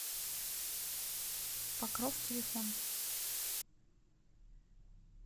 покров телефон